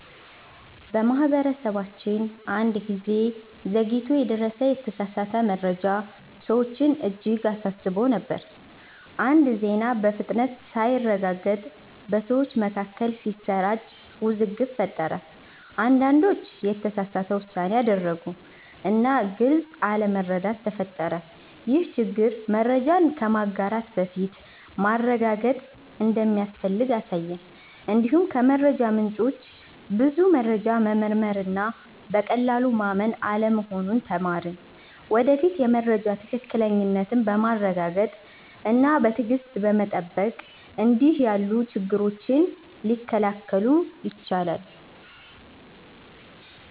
በማህበረሰባችን አንድ ጊዜ ዘግይቶ የደረሰ የተሳሳተ መረጃ ሰዎችን እጅግ አሳስቦ ነበር። አንድ ዜና በፍጥነት ሳይረጋገጥ በሰዎች መካከል ሲሰራጭ ውዝግብ ፈጠረ። አንዳንዶች የተሳሳተ ውሳኔ አደረጉ እና ግልጽ አለመረዳት ተፈጠረ። ይህ ችግር መረጃን ከማጋራት በፊት ማረጋገጥ እንደሚያስፈልግ አሳየን። እንዲሁም ከመረጃ ምንጮች ብዙ መረጃ መመርመር እና በቀላሉ ማመን አለመሆኑን ተማርን። ወደፊት የመረጃ ትክክለኛነትን በማረጋገጥ እና በትዕግሥት በመጠበቅ እንዲህ ያሉ ችግሮች ሊከላከሉ ይችላሉ።